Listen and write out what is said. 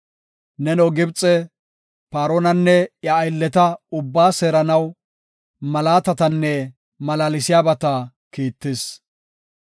Neno Gibxe, Paaronanne iya aylleta ubbaa seeranaw malaatatanne malaalsiyabata kiittis.